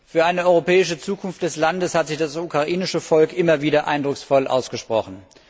Für eine europäische Zukunft des Landes hat sich das ukrainische Volk immer wieder eindrucksvoll ausgesprochen.